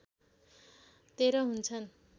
१३ हुन्छन्